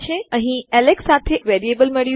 અમને અહીં એલેક્સ સાથે એક વેરીએબલ ચલ મળ્યું છે